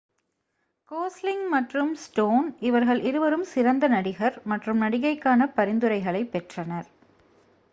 Gosling மற்றும் Stone இவர்கள் இருவரும் சிறந்த நடிகர் மற்றும் நடிகைக்கான பரிந்துரைகளைப் பெற்றனர்